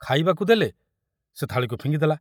ଖାଇବାକୁ ଦେଲେ ସେ ଥାଳିକୁ ଫିଙ୍ଗିଦେଲା।